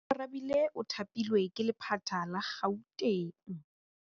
Oarabile o thapilwe ke lephata la Gauteng.